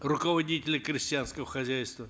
руководителя крестьянского хозяйства